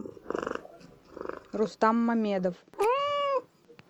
рустам мамедов